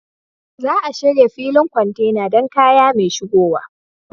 Za a shirya filin kwantena don kaya mai shigowa.